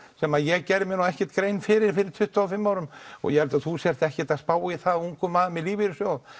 sem ég gerði mér ekki grein fyrir fyrir tuttugu og fimm árum og ég held að þú sért ekkert að spá í það ungur maður með lífeyrissjóð